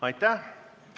Aitäh!